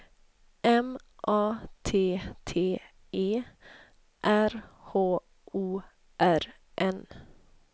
M A T T E R H O R N